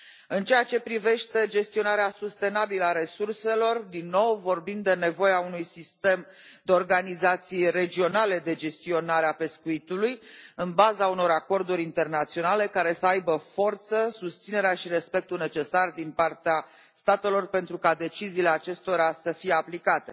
În ceea ce privește gestionarea sustenabilă a resurselor, din nou vorbim de nevoia unui sistem de organizații regionale de gestionare a pescuitului în baza unor acorduri internaționale care să aibă forță, susținerea și respectul necesar din partea statelor, pentru ca deciziile acestora să fie aplicate.